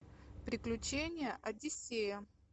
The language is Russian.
приключения одиссея